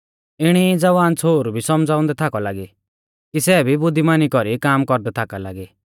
इणी ई ज़वान छ़ोहरु भी सौमझ़ाउंदै थाकौ लागी कि सै भी बुद्धीमानी कौरी काम कौरदै थाका लागी